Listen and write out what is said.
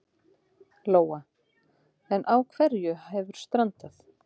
Lóa: En á hverju hefur strandað?